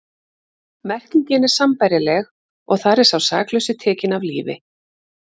Merkingin er sambærileg og þar er sá saklausi tekinn af lífi.